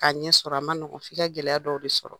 K'a ɲɛ sɔrɔ a ma nɔgɔ f'i ka gɛlɛya dɔw de sɔrɔ